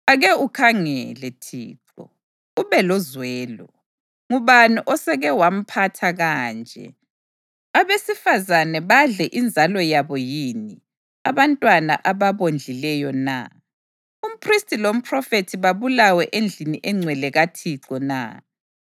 Ake ukhangele, Thixo, ube lozwelo: Ngubani osewake wamphatha kanje? Abesifazane badle inzalo yabo yini, abantwana ababondlileyo na? Umphristi lomphrofethi babulawe endlini engcwele kaThixo na?